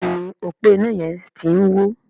Béèni ọpo iná yén tí ń wọ.